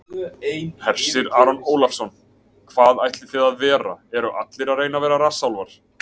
Hersir Aron Ólafsson: Hvað ætlið þið að vera, eru allir að reyna að vera rassálfar?